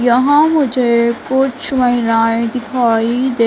यहां मुझे कुछ महिलाएं दिखाई दे--